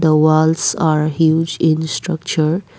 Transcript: walls are huge in structure.